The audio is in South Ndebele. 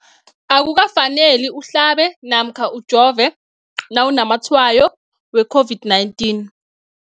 Akuka faneli uhlabe namkha ujove nawu namatshayo we-COVID-19.